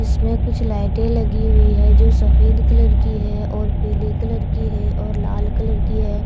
इसमें कुछ लाइटें लगी हुई है जो सफ़ेद कलर की है और पीले कलर की है और लाल कलर की है।